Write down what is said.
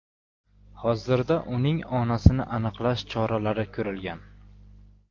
Hozirda uning onasini aniqlash choralari ko‘rilgan.